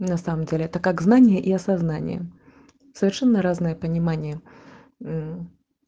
на самом деле это как знания и осознание совершенно разное понимание